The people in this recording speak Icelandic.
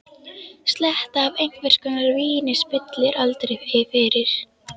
Sletta af einhvers konar víni spillir aldrei fyrir.